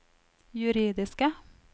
juridiske